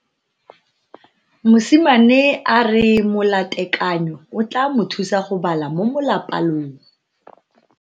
Mosimane a re molatekanyo o tla mo thusa go bala mo molapalong.